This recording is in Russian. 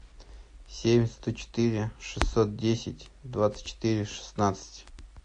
семь сто четыре шестьсот десять двадцать четыре шестнадцать